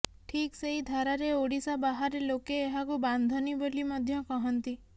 ଠିକ୍ ସେଇ ଧାରାରେ ଓଡ଼ିଶା ବାହାରେ ଲୋକେ ଏହାକୁ ବାନ୍ଧନୀ ବୋଲି ମଧ୍ୟ କହନ୍ତି